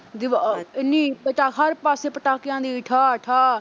ਜਦੋਂ ਅਹ ਨੀ ਪਾ ਅਹ ਹਰ ਪਾਸੇ ਪਟਾਕਿਆਂ ਦੀ ਠਾਹ-ਠਾਹ।